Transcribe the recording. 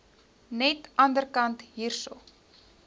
net anderkant hierso